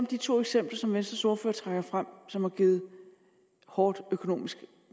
de to eksempler som venstres ordfører trækker frem og som har givet et hårdt økonomisk